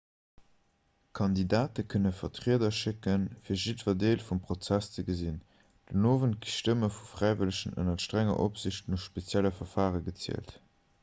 kandidate kënne vertrieder schécken fir jiddwer deel vum prozess ze gesinn den owend ginn d'stëmme vu fräiwëllegen ënner strenger opsiicht no spezielle verfare gezielt